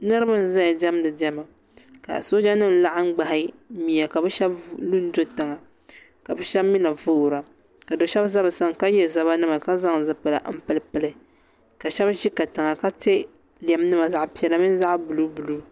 Niriba n-zaya diɛmdi diɛma ka soojanima laɣim ɡbahi mia ka bɛ shɛba lu n-do tiŋa ka bɛ shɛba mi na voora ka do' shɛba za bɛ sani ka ye zabanima ka zaŋ zipila m-pilipili ka shɛba za katiŋa ka te lɛmnima zaɣ' piɛla mini zaɣ' buluubuluu